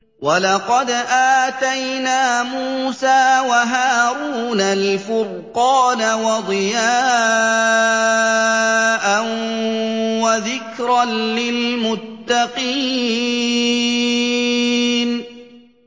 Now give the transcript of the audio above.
وَلَقَدْ آتَيْنَا مُوسَىٰ وَهَارُونَ الْفُرْقَانَ وَضِيَاءً وَذِكْرًا لِّلْمُتَّقِينَ